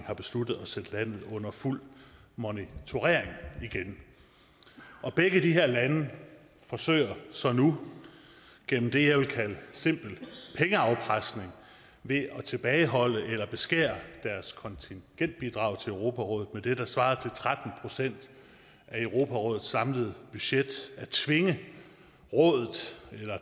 har besluttet at sætte landet under fuld monitorering igen begge de her lande forsøger så nu gennem det jeg vil kalde simpel pengeafpresning ved at tilbageholde eller beskære deres kontingentbidrag til europarådet med det der svarer til tretten procent af europarådets samlede budget at tvinge